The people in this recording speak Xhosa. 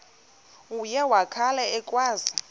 uye wakhala ekhwaza